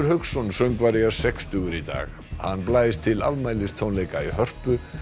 Hauksson söngvari er sextugur í dag hann blæs til afmælistónleika í Hörpu